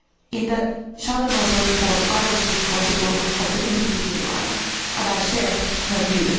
In the Schaldemose report I was responsible for the EPP line and I share her view.